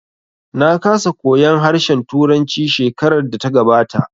Na kasa koyan harshen turanci shekarar da ta gabata